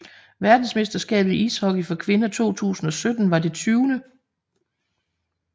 Verdensmesterskabet i ishockey for kvinder 2017 var det 20